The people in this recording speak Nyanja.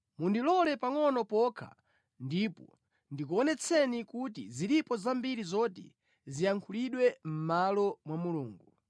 “Mundilole pangʼono pokha ndipo ndikuonetsani kuti zilipo zambiri zoti ziyankhulidwe mʼmalo mwa Mulungu.